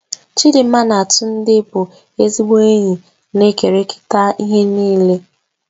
Chidinma na Tunde bụ ezigbo enyi na-ekerịta ihe niile.